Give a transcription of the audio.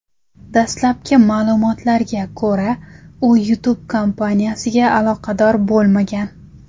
Dastlabki ma’lumotlarga ko‘ra, u YouTube kompaniyasiga aloqador bo‘lmagan.